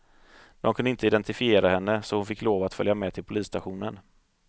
De kunde inte identifiera henne, så hon fick lov att följa med till polisstationen.